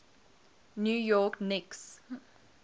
new york knicks